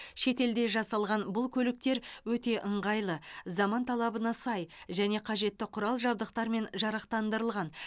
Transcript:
шетелде жасалған бұл көліктер өте ыңғайлы заман талабына сай және қажетті құрал жабдықтармен жарақтандырылған